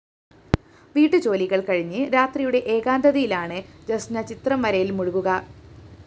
വീട്ടുജോലികള്‍ കഴിഞ്ഞ് രാത്രിയുടെ ഏകാന്തതയിലാണ് ജസ്‌ന ചിത്രം വരയില്‍ മുഴുകുക